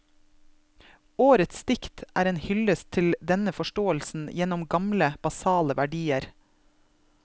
Årets dikt er en hyldest til denne forståelsen gjennom gamle, basale verdier.